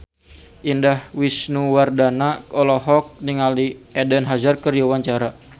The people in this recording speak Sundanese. Indah Wisnuwardana olohok ningali Eden Hazard keur diwawancara